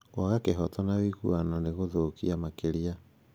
Kwaga kĩhooto na ũiguano no gũthokĩ makĩria